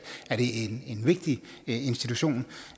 er det en vigtig institution